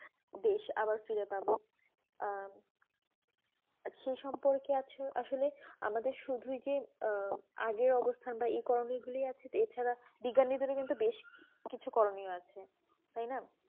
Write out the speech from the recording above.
দেশ আবার ফিরে পাবো আহ সেই সম্পকে আছে আসলে আমাদের শুধু যে আর আগে অবস্থান এই করণীয় গুলো আছে এই ছাড়া বিজ্ঞানী দেড় বেশি কিছু করিনিয় আছে তাই না